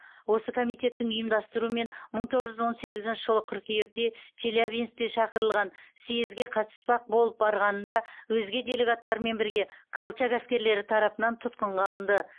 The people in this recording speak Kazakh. осы комитеттің ұйымдастыруымен мың тоғыз жүз он сегізінші жылы қыркүйекте челябинскте шақырылған съезге қатыспақ болып барғанында өзге делегаттармен бірге колчак әскерлері тарапынан тұтқынға алынды